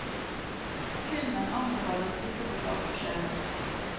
Filmen anbefales ikke for sarte sjeler.